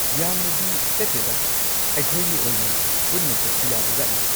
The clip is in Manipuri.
ꯌꯥꯝꯅꯗꯤ ꯆꯠꯇꯦꯗꯥ꯫ ꯑꯩꯈꯣꯏꯅꯤ ꯑꯣꯏꯅ ꯄꯨꯟꯅ ꯆꯠꯄ ꯌꯥꯕꯖꯥꯠꯅꯤ꯫